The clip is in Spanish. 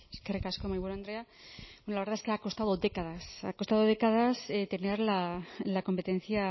eskerrik asko mahaiburu andrea la verdad es que ha costado décadas ha costado décadas tener la competencia